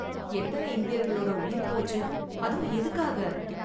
எத்தனை இந்தியர்களோட உயிர் போச்சு, அதுவும் எதுக்காக?